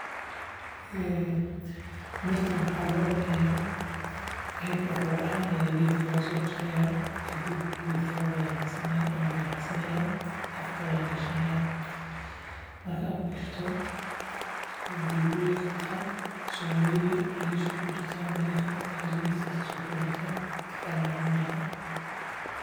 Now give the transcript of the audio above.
Mirtaan waxaa loo cunayaa ayadoo roob ahaan ayaa geedka lagasoo jarayaa kadib mid kamid ah ayaan baxsanayaa afka ayaan gishanaayaa markaan afka gishto biya biya qabtaa mir yar oo yaryariis aa kujirtaa mirta yaryariiska iska sootuureysaa inta kalana waa cuneysaa